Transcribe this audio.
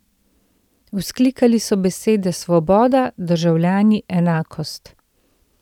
Vzklikali so besede svoboda, državljani, enakost.